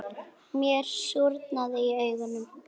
Mér súrnaði í augum.